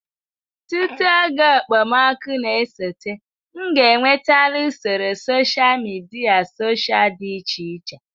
Tutu oge okpomọkụ na-esote, m ga-enwetala usoro sosha midia sosha dị iche iche.